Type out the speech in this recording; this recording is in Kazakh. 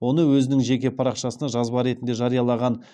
оны өзінің жеке парақшасында жазба ретінде жариялаған